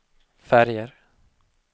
färger